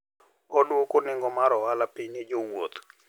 Oduoko nengo mar ohala piny ne jowuoth.